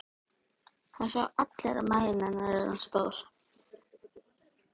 Það sjá allir hvað maginn á henni er orðinn stór.